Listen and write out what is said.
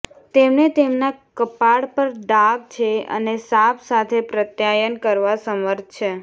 તેમણે તેમના કપાળ પર ડાઘ છે અને સાપ સાથે પ્રત્યાયન કરવા સમર્થ છે